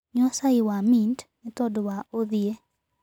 Nyua cai wa mĩnt nĩtondũ wa ũthĩĩ